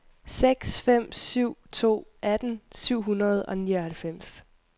seks fem syv to atten syv hundrede og nioghalvfems